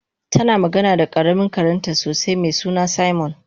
tana magana da karamin karenta sosai mesuna simon